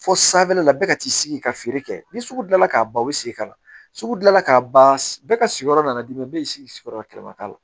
Fo sanfɛla la bɛɛ ka t'i sigi ka feere kɛ ni sugu dilan k'a ban o bɛ segin ka na sugu dila k'a ban bɛɛ ka sigiyɔrɔ la dimi bɛɛ y'i sigi sigiyɔrɔ kɛnɛma k'a la